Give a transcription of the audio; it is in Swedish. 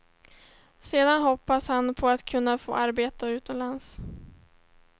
Sedan hoppas han på att kunna få arbete utomlands.